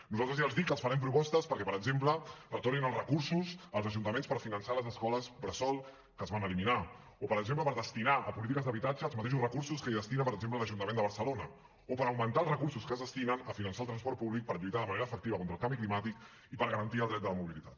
nosaltres ja els dic que els farem propostes perquè per exemple retornin els recursos als ajuntaments per finançar les escoles bressol que es van eliminar o per exemple per destinar a polítiques d’habitatge els mateixos recursos que hi destina per exemple l’ajuntament de barcelona o per augmentar els recursos que es destinen a finançar el transport públic per lluitar de manera efectiva contra el canvi climàtic i per garantir el dret de la mobilitat